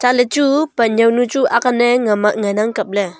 chatley chu pan yawnu chu akne ngan ang kapley.